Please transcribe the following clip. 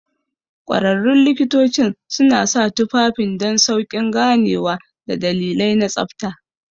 Ƙwararrun likitocin suna sa tufafin don sauƙin ganewa da dalilai na tsabta.